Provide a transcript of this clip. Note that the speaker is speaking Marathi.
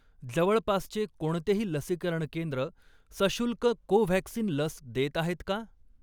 जवळपासचे कोणतेही लसीकरण केंद्र सशुल्क कोव्हॅक्सिन लस देत आहेत का?